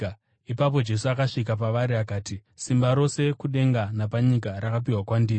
Ipapo Jesu akasvika pavari akati, “Simba rose kudenga napanyika rakapiwa kwandiri.